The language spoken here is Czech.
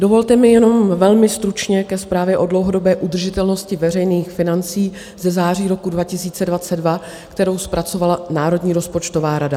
Dovolte mi jenom velmi stručně ke zprávě o dlouhodobé udržitelnosti veřejných financí ze září roku 2022, kterou zpracovala Národní rozpočtová rada.